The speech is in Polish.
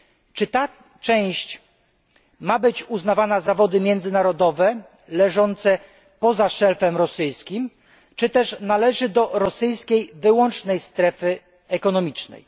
Czy ta część ma być uznawana za wody międzynarodowej leżące poza szelfem rosyjskim czy też należy do rosyjskiej wyłącznej strefy ekonomicznej?